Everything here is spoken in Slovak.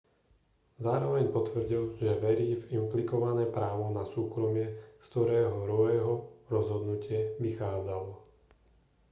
zároveň potvrdil že verí v implikované právo na súkromie z ktorého roeho rozhodnutie vychádzalo